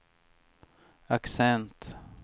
accent